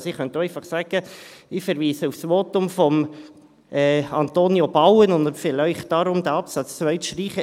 Ich könnte also auch einfach sagen: Ich verweise auf das Votum von Antonio Bauen und empfehle Ihnen darum, den Absatz 2 zu streichen.